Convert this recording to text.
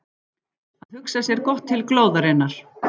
Að hugsa sér gott til glóðarinnar